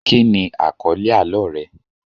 Kíni àkọ́lẹ́ àlọ́ rẹ?